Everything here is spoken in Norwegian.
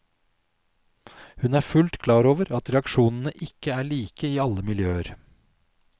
Hun er fullt klar over at reaksjonene ikke er like i alle miljøer.